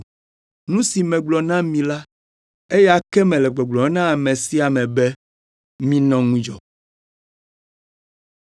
Nu si megblɔ na mi la, eya ke mele gbɔgblɔm na ame sia ame be, “Minɔ ŋudzɔ!”